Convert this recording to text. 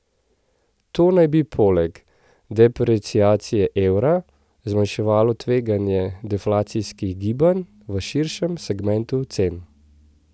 To naj bi, poleg depreciacije evra, zmanjševalo tveganje deflacijskih gibanj v širšem segmentu cen.